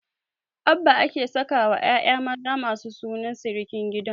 Abba ake sakawa ƴaƴa maza masu sunan sirikin gidan